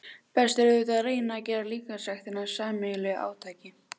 Best er auðvitað að reyna að gera líkamsræktina að sameiginlegu átaki.